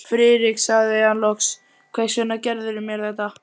Friðrik sagði hann loks, hvers vegna gerðirðu mér þetta?